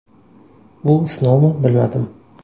Bu sinovmi, bilmadim.